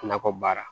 Nakɔ baara